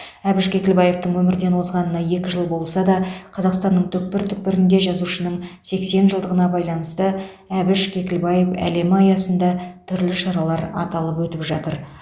әбіш кекілбаевтың өмірден озғанына екі жыл болса да қазақстанның түкпір түкпірінде жазушының сексен жылдығына байланысты әбіш кекілбаев әлемі аясында түрлі шаралар аталып өтіп жатыр